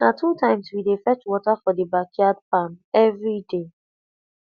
na two times we dey fetch water for the backyard farm every day